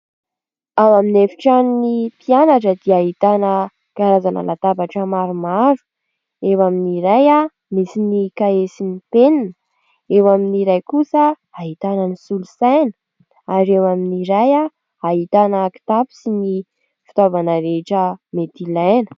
Ao amin'ny efitranon'ny mpianatra dia ahitana karazana latabatra maromaro : eo amin'ny iray misy ny kahie sy ny penina, eo amin'ny iray kosa ahitana ny solosaina ary eo amin'ny iray ahitana kitapo sy ny fitaovana rehetra mety ilaina.